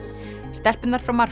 stelpurnar frá